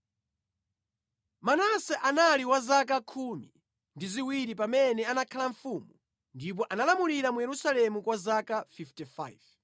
Manase anali wa zaka khumi ndi ziwiri pamene anakhala mfumu, ndipo analamulira mu Yerusalemu kwa zaka 55.